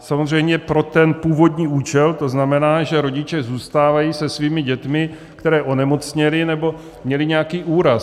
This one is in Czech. samozřejmě pro ten původní účel, to znamená, že rodiče zůstávají se svými dětmi, které onemocněly nebo měly nějaký úraz.